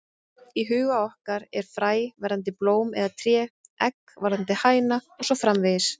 Í huga okkar er fræ verðandi blóm eða tré, egg verðandi hæna og svo framvegis.